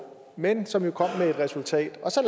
men som jo kom med et resultat så